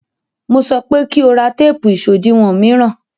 Mo sọpé ko ra téèpù ìṣòdiwọ̀ mìíràn!